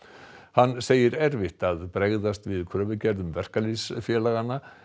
hann segir erfitt að bregðast við kröfugerðum verkalýðsfélaganna